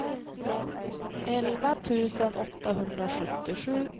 elva tusen åttahundrasjuttiosju